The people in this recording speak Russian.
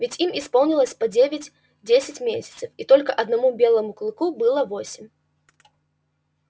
ведь им исполнилось по девять-десять месяцев и только одному белому клыку было восемь